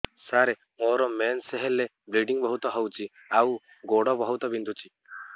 ସାର ମୋର ମେନ୍ସେସ ହେଲେ ବ୍ଲିଡ଼ିଙ୍ଗ ବହୁତ ହଉଚି ଆଉ ଗୋଡ ବହୁତ ବିନ୍ଧୁଚି